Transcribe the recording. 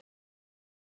Og sögur.